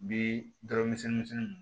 Bi dɔrɔmɛ misɛn misɛnninw